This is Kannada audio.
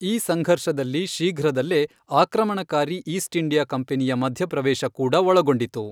ಈ ಸಂಘರ್ಷದಲ್ಲಿ ಶೀಘ್ರದಲ್ಲೇ ಆಕ್ರಮಣಕಾರಿ ಈಸ್ಟ್ ಇಂಡಿಯಾ ಕಂಪನಿಯ ಮಧ್ಯಪ್ರವೇಶ ಕೂಡ ಒಳಗೊಂಡಿತು.